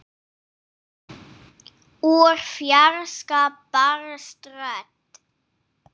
Úr fjarska barst rödd.